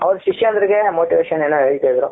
ಅವರ ಶಿಷ್ಯಂದಿರಿಗೆ motivation ಏನೋ ಹೇಳ್ತಾ ಇದ್ರು.